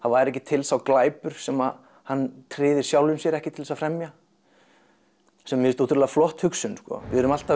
væri ekki til sá glæpur sem hann tryði sjálfum sér ekki til þess að fremja sem mér finnst ótrúlega flott hugsun við erum alltaf